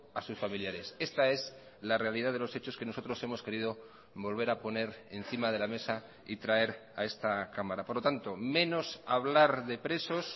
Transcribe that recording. a sus familiares esta es la realidad de los hechos que nosotros hemos querido volver a poner encima de la mesa y traer a esta cámara por lo tanto menos hablar de presos